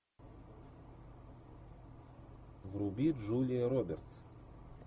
вруби джулия робертс